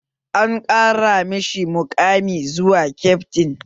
An ƙara mashi muƙami zuwa kyaftin